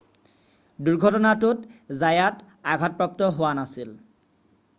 দুৰ্ঘটনাটোত জায়াত আঘাতপ্ৰাপ্ত হোৱা নাছিল